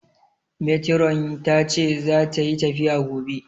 Metiron tace zata yi tafiya gobe